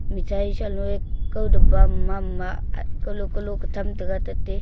mithai shalo e kao daba mama ak kalo kalo katham tate--